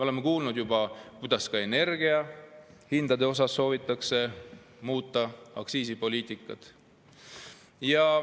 Aga me oleme juba kuulnud, et ka energia hindade puhul soovitakse muuta aktsiisipoliitikat.